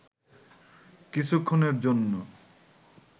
কিছুক্ষণের জন্য